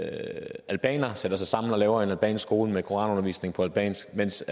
albanere sætter sig sammen og laver en albansk skole med koranundervisning på albansk mens